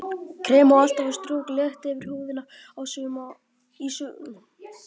Krem á alltaf að strjúka létt yfir húðina í sömu átt og hárið vex.